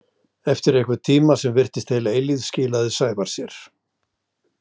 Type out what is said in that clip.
Eftir einhvern tíma sem virtist heil eilífð skilaði Sævar sér.